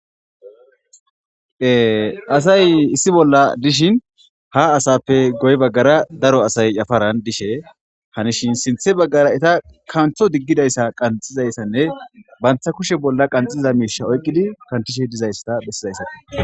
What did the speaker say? Asay issi bolla dishin ha asappe guye bagara qase daro asay yaparan dishe hanishe sintha bagara katho digidaysa qaxizaysanne banta kushe bolla qaxiza misha oykidi qanxishe dizaysa besizaysakko